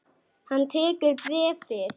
Hann tekur bréfið.